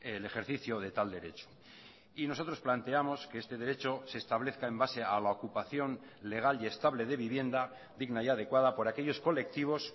el ejercicio de tal derecho y nosotros planteamos que este derecho se establezca en base a la ocupación legal y estable de vivienda digna y adecuada por aquellos colectivos